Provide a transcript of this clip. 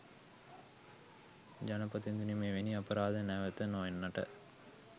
ජනපතිඳුනි මෙවැනි අපරාධ නැවත නොවෙන්නට